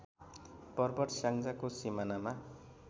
पर्वत स्याङ्जाको सिमानामा